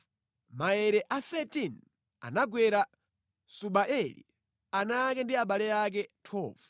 Maere a 13 anagwera Subaeli, ana ake ndi abale ake. 12